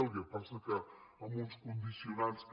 el que passa és que amb uns condicionants que